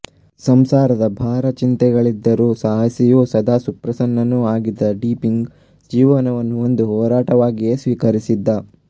ಸಂಸಾರದ ಭಾರ ಚಿಂತೆಗಳಿದ್ದರೂ ಸಾಹಸಿಯೂ ಸದಾ ಸುಪ್ರಸನ್ನನೂ ಆಗಿದ್ದ ಡೀಪಿಂಗ್ ಜೀವನವನ್ನು ಒಂದು ಹೋರಾಟವಾಗಿಯೇ ಸ್ವೀಕರಿಸಿದ್ದ